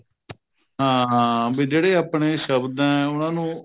ਹਾਂ ਹਾਂ ਵੀ ਜਿਹੜੇ ਆਪਣੇ ਸ਼ਬਦ ਹੈ ਉਹਨਾ ਨੂੰ